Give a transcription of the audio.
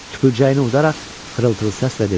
Tüpürcəyini udaraq xırıltılı səslə dedi: